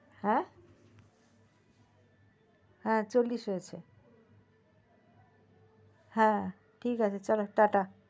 হ্যা হ্যা চল্লিশ হয়েছে হ্যা ঠিক আছে চলো টা টা